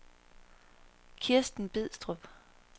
Kristen Bidstrup